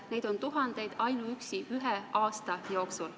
Neid on tuhandeid ainuüksi ühe aasta jooksul.